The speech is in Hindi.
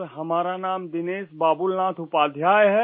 सर हमारा नाम दिनेश बाबूलनाथ उपाध्याय है